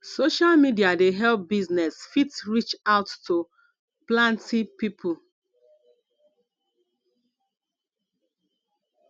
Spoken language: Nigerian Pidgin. social media dey help business fit reach out to planty pipo